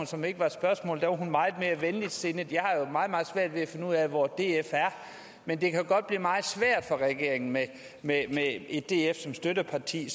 som ikke var et spørgsmål var hun meget mere venligsindet jeg har jo meget meget svært ved at finde ud af hvor df er men det kan godt blive meget svært for regeringen med med et df som støtteparti